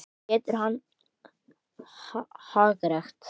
Getur hann hagrætt?